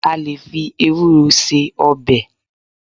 À lè fí Ewúro ṣe ọbẹ̀.